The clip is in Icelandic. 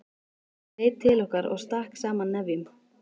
Fólk leit til okkar og stakk saman nefjum.